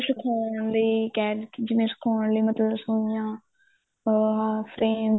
ਸਿਖਾਉਣ ਲਈ ਕਹਿ ਜਿਵੇਂ ਸਿਖਾਉਣ ਲਈ ਮਤਲਬ ਸੂਈਆਂ ਪੋਹਾ frame